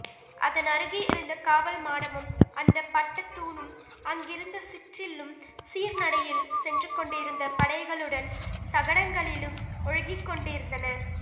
அதனருகே இருந்த காவல்மாடமும் அந்தப் பட்டத்தூணும் அருகிருந்த சிற்றில்லும் சீர்நடையில் சென்றுகொண்டிருந்த படைகளுடன் சகடங்களில் ஒழுகிக்கொண்டிருந்தன